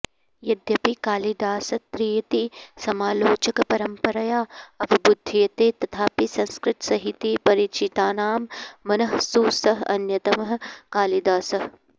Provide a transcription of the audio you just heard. यद्यपि कालिदासत्रयीति समालोचकपरम्परया अवबुध्यते तथापि संस्कृतसाहितीपरिचितानां मनःसु सः अन्यतमः कालिदासः